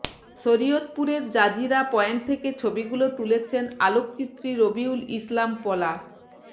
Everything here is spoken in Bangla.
শরীয়তপুরের জাজিরা পয়েন্ট থেকে ছবিগুলো তুলেছেন আলোকচিত্রী রবিউল ইসলাম পলাশ